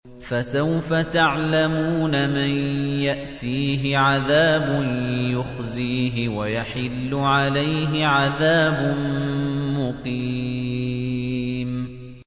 فَسَوْفَ تَعْلَمُونَ مَن يَأْتِيهِ عَذَابٌ يُخْزِيهِ وَيَحِلُّ عَلَيْهِ عَذَابٌ مُّقِيمٌ